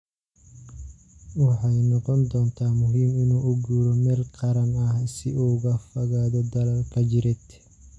Waxay noqon doontaa muhiim inuu u guuro meelo gaar ah si uu uga fogaado dagaalka jireed."